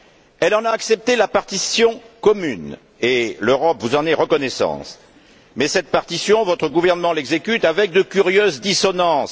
Elle en a accepté la partition commune, et l'Europe vous en est reconnaissante, mais cette partition, votre gouvernement l'exécute avec de curieuses dissonances.